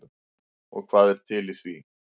Og hvað er til í því?